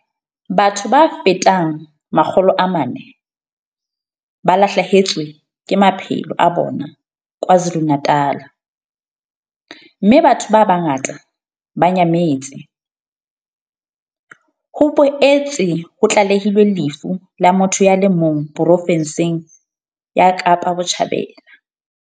Batho ba fetang 400 ba lahlehetswe ke maphelo a bona KZN, mme batho ba bangata ba nyametse. Ho boetse ho tlalehilwe lefu la motho ya le mong profenseng ya Kapa Botjhabela.